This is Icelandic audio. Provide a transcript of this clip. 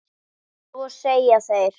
Svo segja þeir.